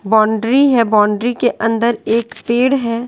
Boundary है boundary के अंदर एक पेड़ है।